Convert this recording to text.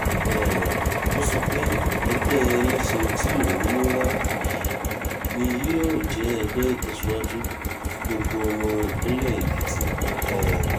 um ó sọ pé ẹgbẹ́ ẹlẹ́sìn tí òun mú wá yìí ni yóò jẹ́ ẹgbẹ́ ìtẹ̀síwájú fún gbogbo ọmọ ìpínlẹ̀ èkìtì um